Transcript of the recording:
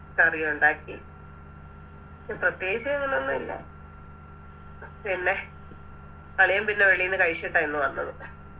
കറി ഒണ്ടാക്കി പ്രത്യേകിച്ച് ഇന്നൊന്നുല്ല പിന്നെ അളിയൻ പിന്നെ വെളിന്ന് കഴിച്ചിട്ട ഇന്ന് വന്നത്